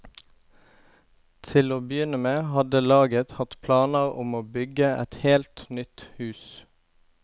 Til å begynne med hadde laget hatt planer om å bygge et helt nytt hus.